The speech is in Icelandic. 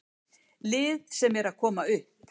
Lið sem er að koma upp.